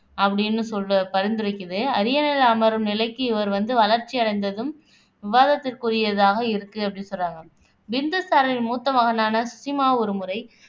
அப்படின்னு சொல்லி பரிந்துரைக்கிது அரியணையில அமரும் நிலைக்கு இவர் வந்து வளர்ச்சியடைந்ததும் விவாதத்திற்குரியதாக இருக்கு அப்படின்னு சொல்றாங்க பிந்துசாரரின் மூத்த மகனான சுசிமா ஒரு முறை